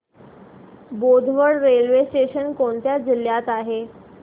Bodwad railway station कोणत्या जिल्ह्यात आहे